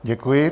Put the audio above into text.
Děkuji.